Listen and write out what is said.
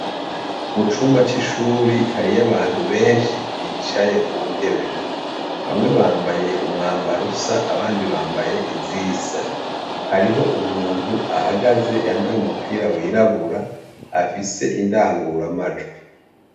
Mu cumba c'ishuri hariyo abantu benshi bicaye ku ntebe, bamwe bambaye umwambaro usa abandi bambaye izisa, hariho umuntu ahagaze yambaye umupira wirabura afise indanguramajwi.